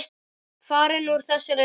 Farin úr þessari veröld.